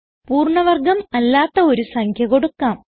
പൂർണ്ണ വർഗം അല്ലാത്ത ഒരു സംഖ്യ കൊടുക്കാം